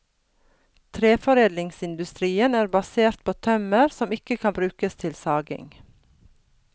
Treforedlingsindustrien er basert på tømmer som ikke kan brukes til saging.